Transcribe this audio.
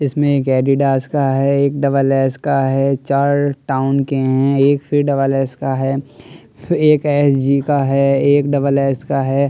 इसमें एक एडिडास का है एक डबल एक्स का है चार टाउन के हैं एक फिर डबल एक्स का है एक एस_जी का है एक डबल एक्स का है और एक--